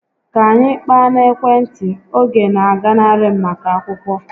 Ka anyị kpaa n'ekwentị, oge na aganarị m maka akwụkwọ